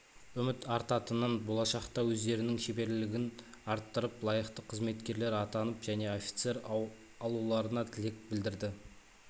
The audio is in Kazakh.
үміт артатынын болашақта өздерінің шеберлілігін арттырып лайықты қызметкер атанып және офицер алуларына тілек білдірді